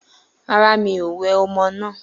Rárá, mi ò wẹ ọmọ náà.